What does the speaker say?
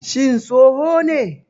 Shin tsoho ne?